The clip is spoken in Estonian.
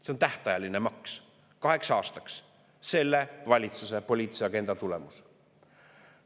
See on tähtajaline maks kaheks aastaks, selle valitsuse poliitilise agenda tulemus.